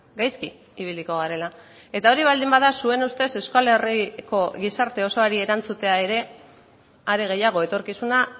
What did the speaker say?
gaizki ibiliko garela eta hori baldin bada zuen ustez euskal herriko gizarte osoari erantzutea ere are gehiago etorkizuna